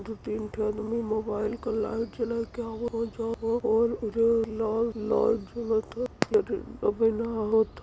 दू तीन ठे अदमी मोबाइल क लाइट जलाके लाल लाल जलत ह होत ह।